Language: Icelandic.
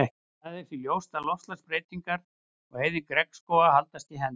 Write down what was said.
Það er því ljóst að loftslagsbreytingar og eyðing regnskóganna haldast í hendur.